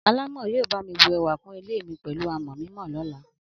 Alámọ̀ yóò bá mi bù ẹwà kún ilé mi pẹ̀lú àmọ̀ mímọ lọ́la.